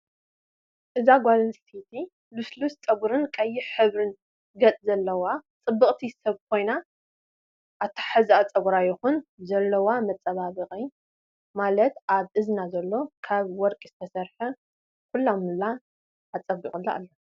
እዛ ጓል ኣነስተይቲ ሉስሉስ ፀጉሪን ቀይሕ ሕብሪ ገፅ ዘለዋ ፅብቅቲ ሰብ ኮይና ኣታሓዛ ፀጉራ ይኩን ዘለውዋ መፃባበቂ ማለት ኣብ እዝና ዘሎ ካብ ወርቂ ዝተሰረሐ ኩላሙላ ኣፀቢቂላ ኣሎ።